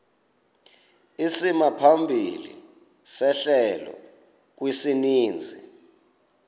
isimaphambili sehlelo kwisininzi